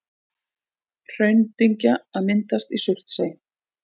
Hraundyngja að myndast í Surtsey.